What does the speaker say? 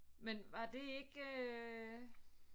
Men var det ikke øh